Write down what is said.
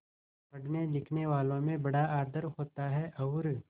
पढ़नेलिखनेवालों में बड़ा आदर होता है और